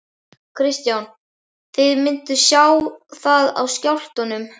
Kristján: Þið mynduð sjá það á skjálftunum?